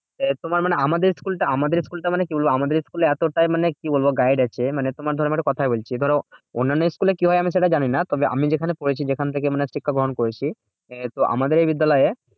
এ তোমার মানে আমাদের school টা আমাদের school টা মানে কি বলবো? আমাদের school এ এতটা মানে কি বলবো? guide আছে মানে তোমার ধরো কথায় বলছি, ধরো অন্যান্য school এ কি হয় সেটা জানিনা? তবে আমি যেখানে পড়েছি যেখান থেকে মানে শিক্ষা গ্রহণ করেছি তো আমাদের বিদ্যালয়ে